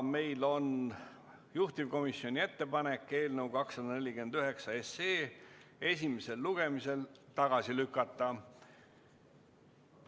Meil on juhtivkomisjoni ettepanek eelnõu 249 esimesel lugemisel tagasi lükata.